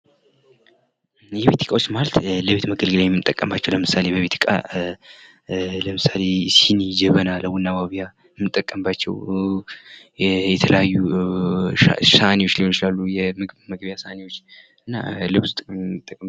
የቤት እቃዎች ማለት ለቤት መገልገያ የምንጠቀምባቸው ምሳሌ የቤት እቃ ምሳሌ ሲኒ፣ ጀበና ቡና ማፍያ የምንጠቀምባቸው የተለያዩ ሳህኔዎች ሊሆኑ ይችላሉ። ምግብ መመገብያ ሳህሎች እና